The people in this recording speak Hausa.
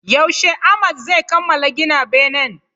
Yaushe Ahmad zai kamala gina benen?